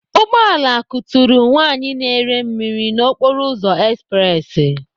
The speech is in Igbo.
Ugbọala kuturu nwaanyị na-ere mmiri na okporoụzọ espressi.